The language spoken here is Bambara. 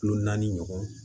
Kilo naani ɲɔgɔn